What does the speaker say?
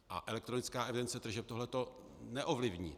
A elektronická evidence tržeb tohleto neovlivní.